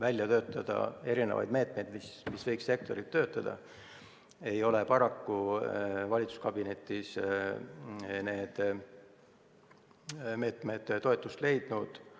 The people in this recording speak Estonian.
välja töötada erisuguseid meetmeid, mis võiksid sektorit toetada, sest paraku ei ole need meetmed valitsuskabinetis toetust leidnud.